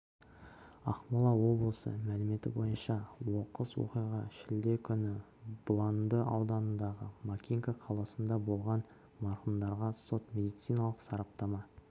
ақмола облысы мәліметі бойынша оқыс оқиға шілде күні бұланды ауданындағы макинка қаласында болған марқұмдарға сот-медициналық сараптама